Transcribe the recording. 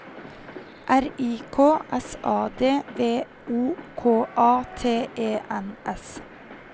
R I K S A D V O K A T E N S